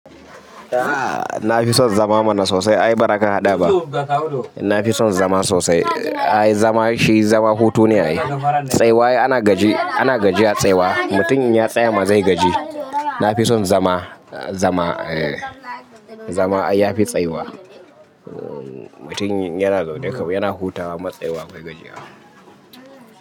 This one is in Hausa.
Na fi son zama mana sosai. Ai ba ra ka haɗa ba. Na fi son zama sosai. Ai zama shi zama hutu ne ai. Tsaiwa ana gaji, ana gaji a tsaiwa. Mutum in ya tsayama zai gaji. Na fi son zama, zama, eh. Zama ya fi tsaiwa. Mutum yana zaune kam yana hutawa matsaiwa bai gaji ba.